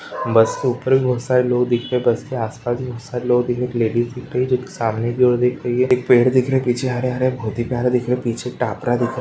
बस के ऊपर भी बहोत सारे लोग दिखे रहे हैं बस के आस पास भी बहोत सारे लोग दिख रहे हैं एक लेडिस दिख रही है जोकि सामने की ओर देख रही है एक पेड़ देख रहे है पीछे हरे हरे बहोत ही प्यारे दिख रहे हैं पीछे एक टापरा दिख रहा है ।